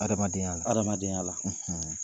Hadamadenya la hadamadenya la.